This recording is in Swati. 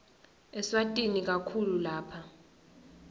eswatini kakhulu lapha